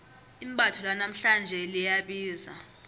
imbatho lanamhlanje liyabiza